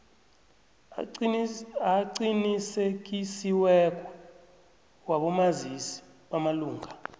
aqinisekisiweko wabomazisi bamalunga